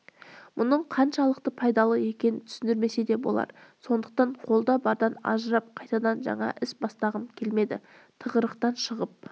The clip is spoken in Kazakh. мұның қаншалықты пайдалы екенін түсіндірмесе де болар сондықтан қолда бардан ажырап қайтадан жаңа іс бастағым келмеді тығырықтан шығып